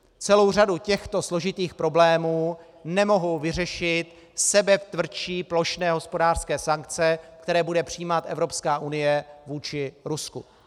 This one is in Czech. Celou řadu těchto složitých problémů nemohou vyřešit sebetvrdší plošné hospodářské sankce, které bude přijímat Evropská unie vůči Rusku.